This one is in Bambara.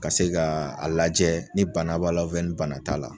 Ka se ka a lajɛ ni bana b'a la ni bana t'a la.